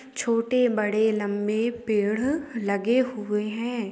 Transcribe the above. छोटे बड़े-लम्बे पेड़ लगे हुए है ।